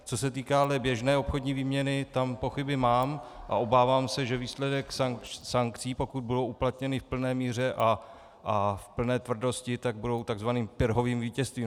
Co se týká běžné obchodní výměny, tam pochyby mám a obávám se, že výsledek sankcí, pokud budou uplatněny v plné míře a v plné tvrdosti, tak bude takzvaným Pyrrhovým vítězstvím.